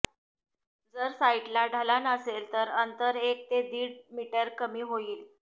जर साइटला ढलान असेल तर अंतर एक ते दीड मीटर कमी होईल